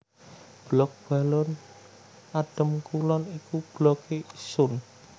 Blok Balong Adem Kulon iku Blokke Isun